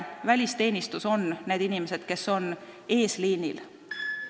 Välisteenistus tähendab neid inimesi, kes on eesliinil.